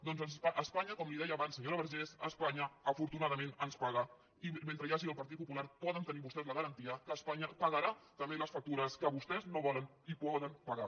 doncs espanya com li deia abans senyora vergés afortunadament ens paga i mentre hi hagi el partit popular poden tenir vostès la garantia que espanya pagarà també les factures que vostès no volen i poden pagar